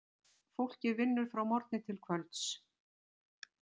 Fólkið vinnur frá morgni til kvölds.